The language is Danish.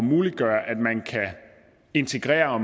muliggøre at man kan integrere og